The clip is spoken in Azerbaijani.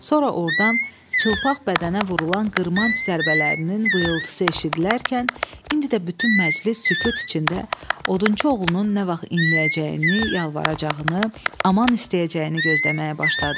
Sonra ordan çılpaq bədənə vurulan qırmanc zərbələrinin vızıltısı eşidilərkən, indi də bütün məclis sükut içində odunçu oğlunun nə vaxt inləyəcəyini, yalvaracağını, aman istəyəcəyini gözləməyə başladı.